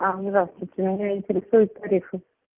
здравствуйте меня интересует лариса